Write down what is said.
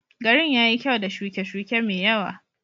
Garin ya yi kyau da shuke-shuke mai yawa.